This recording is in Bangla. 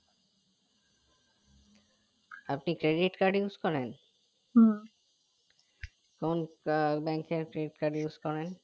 আপনি credit card use করেন? কোন bank এর credit card use করেন?